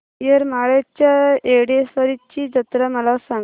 येरमाळ्याच्या येडेश्वरीची जत्रा मला सांग